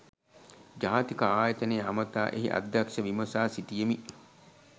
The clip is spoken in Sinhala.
ජාතික ආයතනය අමතා එහි අධ්‍යක්ෂක විමසා සිටියෙමි